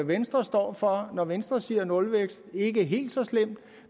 venstre står for når venstre siger nulvækst ikke helt så slemt